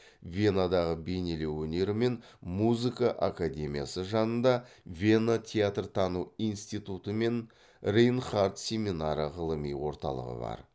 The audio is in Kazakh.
венадағы бейнелеу өнері мен музыка академиясы жанында вена теарт тану инститтуты мен рейнхардт семинары ғылыми орталығы бар